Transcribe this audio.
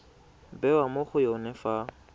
bewa mo go yone fa